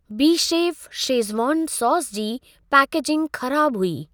Bechef schezwan sauce जी packaging ख़राब हुई।